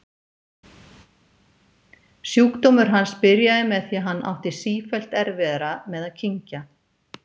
Sjúkdómur hans byrjaði með því að hann átti sífellt erfiðara með að kyngja.